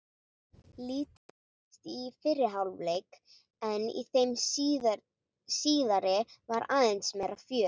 Lítið gerðist í fyrri hálfleik en í þeim síðari var aðeins meira fjör.